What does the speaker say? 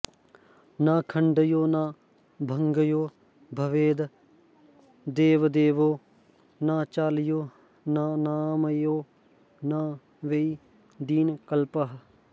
न खण्ड्यो न भङ्ग्यो भवेद् देवदेवो न चाल्यो न नाम्यो न वै दीनकल्पः